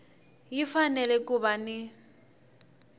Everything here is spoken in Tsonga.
yi fanele ku va ni